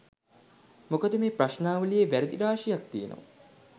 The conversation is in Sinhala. මොකද මේ ප්‍රශ්නාවලියෙ වැරදි රාශියක් තියෙනවා.